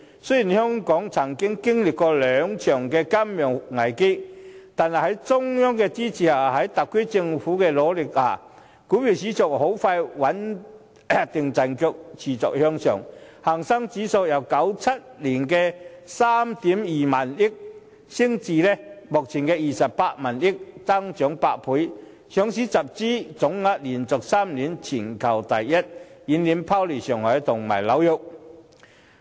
雖然香港曾經歷兩場金融危機，但在中央的支持及特區政府的努力下，股票市場很快穩定陣腳，持續向上，港股市值由1997年的3億 2,000 萬元升至目前的28億 5,000 萬元，增長8倍，上市集資總額連續3年全球第一，遠遠拋離上海和紐約。